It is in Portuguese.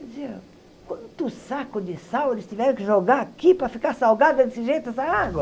Eu dizia, quanto saco de sal eles tiveram que jogar aqui para ficar salgada desse jeito essa água?